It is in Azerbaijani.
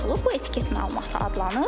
Bu etiket məlumatı adlanır.